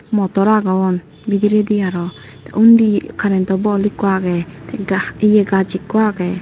motor agon bidiredi aro te undi karento bol ikko age te ga ye gaj ikko agey.